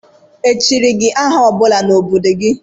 Echiri gị aha ọ bụla n' obodo gị?